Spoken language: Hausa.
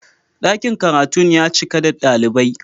Dakin karatun ya cika da dalibai.